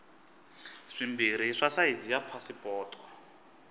swimbirhi swa sayizi ya pasipoto